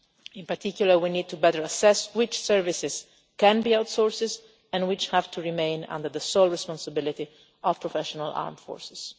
In particular, we need to assess better which services can be outsourced and which have to remain under the sole responsibility of professional armed forces.